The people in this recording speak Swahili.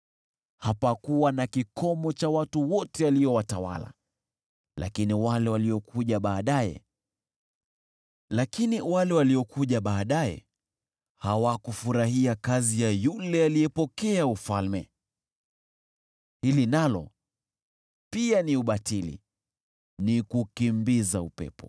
Hapakuwa na kikomo cha watu wote aliowatawala. Lakini wale waliokuja baadaye hawakufurahia kazi ya yule aliyepokea ufalme. Hili nalo pia ni ubatili, ni kukimbiza upepo.